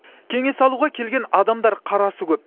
кеңес алуға келген адамдар қарасы көп